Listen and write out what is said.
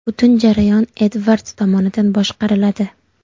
Butun jarayon Edvards tomonidan boshqariladi.